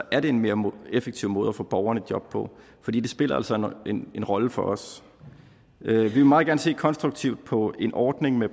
er en mere effektiv måde at få borgerne i job på for det spiller altså en rolle for os vi vil meget gerne se konstruktivt på en ordning med